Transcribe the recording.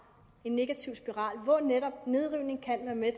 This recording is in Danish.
en negativ spiral og hvor netop nedrivning kan være med